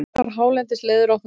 Allar hálendisleiðir opnar